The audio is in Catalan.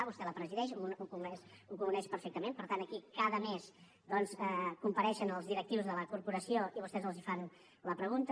vostè la presideix ho coneix perfectament per tant aquí cada mes compareixen els directius de la corporació i vostès els fan la pregunta